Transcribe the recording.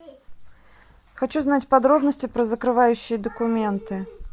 хочу знать подробности про закрывающие документы